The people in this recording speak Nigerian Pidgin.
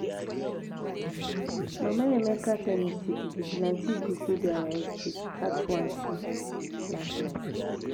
Mama Emeka tell me say the vigilante group wey dey our estate catch one thief last night